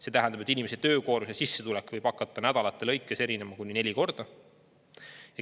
See tähendab, et inimese töökoormuse sissetulek võib hakata nädalate lõikes erinema kuni neli korda.